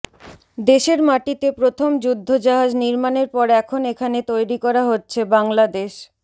দেশের মাটিতে প্রথম যুদ্ধজাহাজ নির্মাণের পর এখন এখানে তৈরি করা হচ্ছে বাংলাদেশ